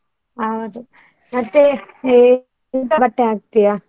ಹೌದು ಮತ್ತೆ ಎಂತ ಬಟ್ಟೆ ಹಾಕ್ತಿಯ?